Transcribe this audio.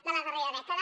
de la darrera dècada